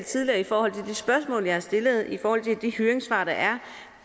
tidligere i forhold til de spørgsmål jeg har stillet og i forhold til de høringssvar der er